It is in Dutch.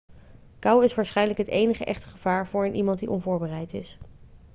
kou is waarschijnlijk het enige echte gevaar voor een iemand die onvoorbereid is